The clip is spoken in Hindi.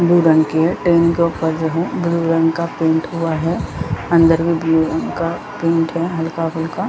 ब्लू रंग की है इसके बाद ब्लू रंग का पेंट हुआ है अंदर भी ब्लू रंग का पेंट है हल्का-हल्का।